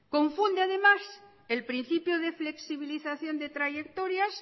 confunde además el principio de flexibilización de trayectorias